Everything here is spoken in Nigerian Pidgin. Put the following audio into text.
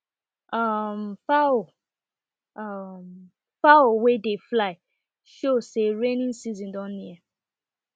um fowl um fowl wey dey fly show say rainy season don near